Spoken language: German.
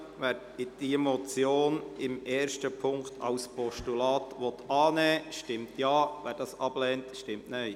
Wer diese Motion in Punkt 1 als Postulat annehmen will, stimmt Ja, wer dies ablehnt, stimmt Nein.